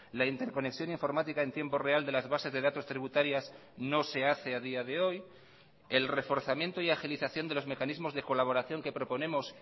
la interconexión informática en tiempo real de las bases de datos tributarias no se hace a día de hoy el reforzamiento y agilización de los mecanismos de colaboración que proponemos